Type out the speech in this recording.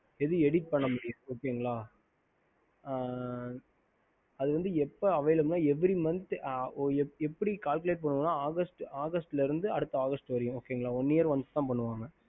ஹம்